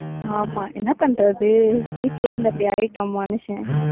ஆமா என்ன பண்றது வீட்டிலேயே இருந்து அப்படி ஆயிட்டோம் மனுஷன்.